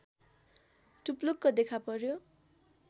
टुप्लुक्क देखापर्‍यो